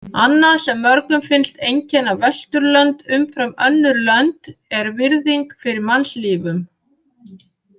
Annað sem mörgum finnst einkenna Vesturlönd umfram önnur lönd er virðing fyrir mannslífum.